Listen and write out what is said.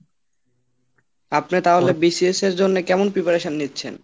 আপনি তাহলে BCS এর জন্যে কেমন preparation নিচ্ছেন?